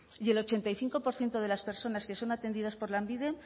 y el ochenta y cinco por ciento de las personas que son atendidas por lanbide